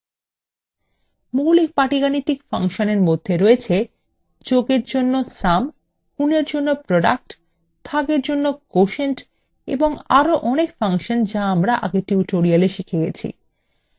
মৌলিক পাটিগাণিতিক ফাংশন এর মধ্যে রয়েছে